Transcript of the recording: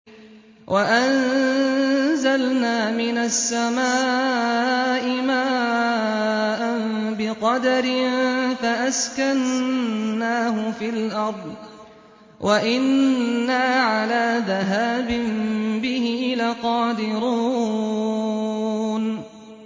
وَأَنزَلْنَا مِنَ السَّمَاءِ مَاءً بِقَدَرٍ فَأَسْكَنَّاهُ فِي الْأَرْضِ ۖ وَإِنَّا عَلَىٰ ذَهَابٍ بِهِ لَقَادِرُونَ